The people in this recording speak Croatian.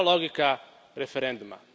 Je li to logika referenduma?